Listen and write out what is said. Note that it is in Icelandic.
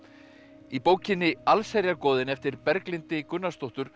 í bókinni allsherjargoðinn eftir Berglindi Gunnarsdóttur